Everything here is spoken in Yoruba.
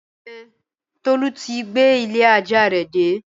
Ẹn, Tolu ti gbé ilé-ajá rẹ̀ dé.